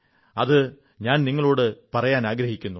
അതു ഞാൻ നിങ്ങളോടു പങ്കുവയ്ക്കാനാഗ്രഹിക്കുന്നു